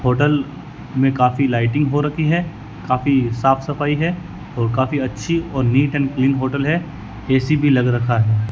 Hotel में काफी lighting हो रखी है काफी साफ सफाई है और काफी अच्छी और नीट एंड क्लीन होटल है ऐ_सी भी लग रखा है।